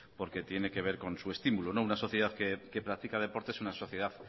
porque tiene que ver con su estímulo una sociedad que practica deporte es una sociedad